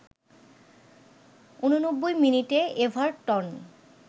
৮৯ মিনিটে এভারটন